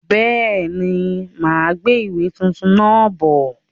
Bẹ́ẹ̀ni, máa gbé ìwé tuntun náà bọ̀.